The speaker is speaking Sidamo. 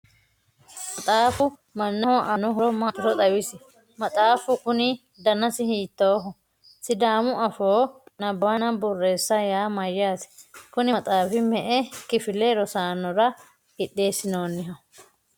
maxaafu mannaho aanno horo maatiro xawisi? maxaafu kuni danasi hiittooho? sidaamu afoo nabbawanna borreessa yaa mayyate? kuni maxaafi me''e kifile rosaanora qixxeesinoonniho?